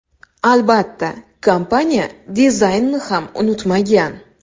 Albatta, kompaniya dizaynni ham unutmagan.